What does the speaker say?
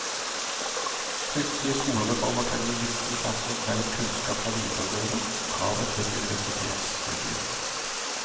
Hyppige skolereformer kan gi mistilpasning mellom kunnskap fra videregående og kravet til et universitetsstudium.